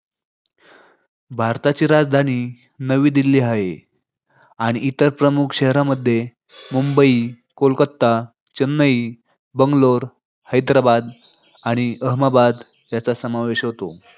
भारताची राजधानी नवी दिल्ली हाय. आणि इतर प्रमुख शहरांमध्ये मुंबई, कोलकाता, चेन्नई, बंगलोर, हैदराबाद आणि अहमदाबाद यांचा समावेश होतो.